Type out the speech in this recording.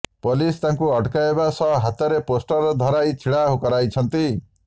police ତାଙ୍କୁ ଅଟକାଇବା ସହ ହାତରେ ପୋଷ୍ଟର୍ ଧରାଇ ଛିଡ଼ା କରାଇଛନ୍ତି